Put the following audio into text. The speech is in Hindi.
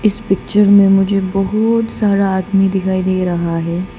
इस पिक्चर में मुझे बहुत सारा आदमी दिखाई दे रहा है।